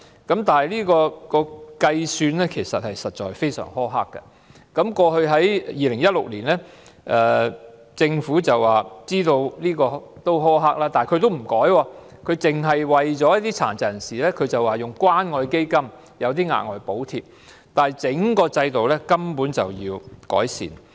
但是，制度的計算方法非常苛刻，在2016年政府表示知道計算方法苛刻，但沒有作出修改，只是透過關愛基金向殘疾人士發出額外補貼，但其實整個制度根本需要改善。